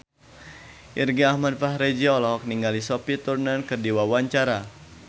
Irgi Ahmad Fahrezi olohok ningali Sophie Turner keur diwawancara